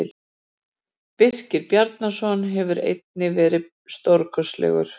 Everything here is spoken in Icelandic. Birkir Bjarnason hefur einnig verið stórkostlegur.